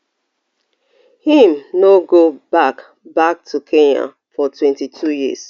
im no go back back to kenya for twenty-two years